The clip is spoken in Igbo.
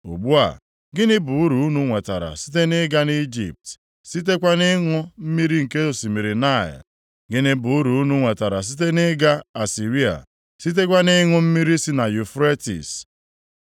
Ugbu a, gịnị bụ uru unu nwetara site nʼịga Ijipt sitekwa nʼịṅụ mmiri nke osimiri Naịl? Gịnị bụ uru unu nwetara site nʼịga Asịrịa, sitekwa nʼịṅụ mmiri si na Yufretis?